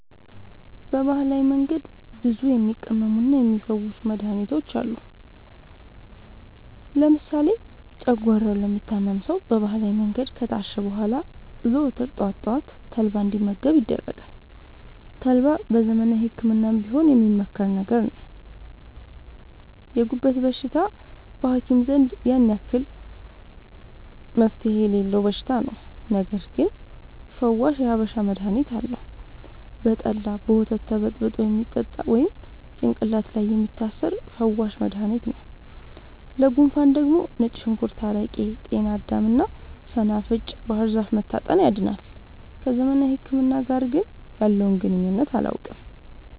በባህላዊ መንገድ ብዙ የሚቀመሙና የሚ ፈውሱ መድሀኒቶች አሉ። ለምሳሌ ጨጓሯውን ለሚታመም ሰው በባህላዊ መንገድ ከታሸ በኋላ ዘወትር ጠዋት ጠዋት ተልባ እንዲ መገብ ይደረጋል ተልባ በዘመናዊ ህክምናም ቢሆን የሚመከር ነገር ነው። የጉበት በሽታ በሀኪም ዘንድ ያን አክል መፍትሄ የሌለው በሽታ ነው። ነገርግን ፈዋሽ የሀበሻ መድሀኒት አለው። በጠላ፣ በወተት ተበጥብጦ የሚጠጣ ወይም ጭቅላት ላይ የሚታሰር ፈዋሽ መደሀኒት ነው። ለጉንፉን ደግሞ ነጭ ሽንኩርት አረቄ ጤናዳም እና ሰናፍጭ ባህርዛፍ መታጠን ያድናል።። ከዘመናዊ ህክምና ጋር ግን ያለውን ግንኙነት አላውቅም።